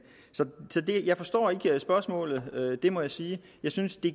så jeg forstår ikke spørgsmålet det må jeg sige jeg synes at det